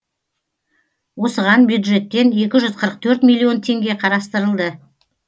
осыған бюджеттен екі жүз қырық төрт миллион теңге қарастырылды